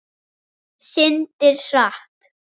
Syndir hratt.